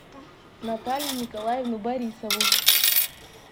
наталью николаевну борисову